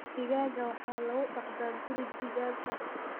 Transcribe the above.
Digaagga waxaa lagu dhaqdaa guri digaag ah.